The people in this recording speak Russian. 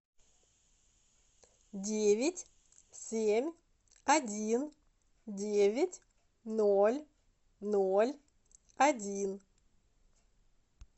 девять семь один девять ноль ноль один